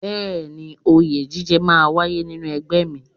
Bẹẹni, oyè jíjẹ máa ń wáyé nínú ẹgbẹ́ mi.